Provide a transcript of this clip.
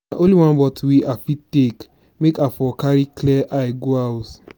na only one bottle wey i fit take make i for carry clear eye go house.